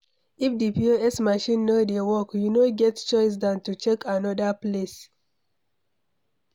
If di POS machine no dey work, you no get choice than to check anoda place